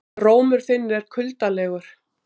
Rómur þinn er kuldalegur